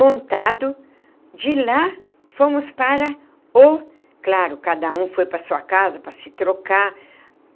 Montado, de lá, fomos para o... Claro, cada um foi para a sua casa para se trocar.